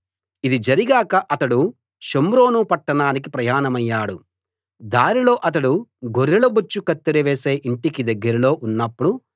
ఇది జరిగాక అతడు షోమ్రోను పట్టణానికి ప్రయాణమయ్యాడు దారిలో అతడు గొర్రెల బొచ్చు కత్తెర వేసే ఇంటికి దగ్గరలో ఉన్నప్పుడు